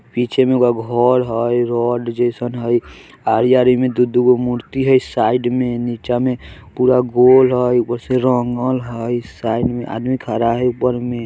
पीछे में एगो घर हैय रोड जइसन हैय आयारी में दुगो दू दूगो मूर्ति है साइड में नीचा में पूरा गोल हैय फिर रंगल हैय साइड में आदमी खरा है ऊपर में|